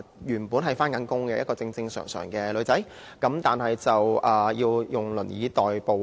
原本是有工作的正常女孩子，要以輪椅代步。